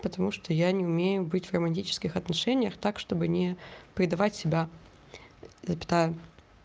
потому что я не умею быть в романтических отношениях так чтобы не предавать себя запятая